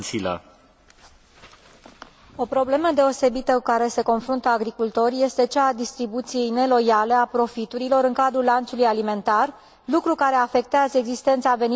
O problemă deosebită cu care se confruntă agricultorii este cea a distribuției neloiale a profiturilor în cadrul lanțului alimentar, lucru care afectează existența veniturilor adecvate pentru agricultori.